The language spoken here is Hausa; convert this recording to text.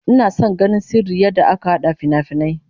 Ina son ganin sirrin yadda aka hada finafinai